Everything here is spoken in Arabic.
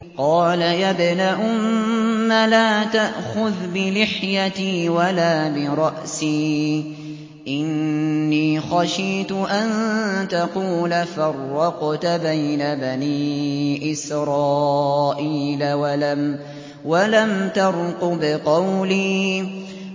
قَالَ يَا ابْنَ أُمَّ لَا تَأْخُذْ بِلِحْيَتِي وَلَا بِرَأْسِي ۖ إِنِّي خَشِيتُ أَن تَقُولَ فَرَّقْتَ بَيْنَ بَنِي إِسْرَائِيلَ وَلَمْ تَرْقُبْ قَوْلِي